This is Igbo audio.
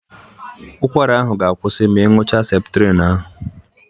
Ụkwara ahụ ga-akwụsị ma ị ñụcha Septrin ahụ.